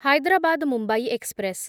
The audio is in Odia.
ହାଇଦ୍ରାବାଦ ମୁମ୍ବାଇ ଏକ୍ସପ୍ରେସ୍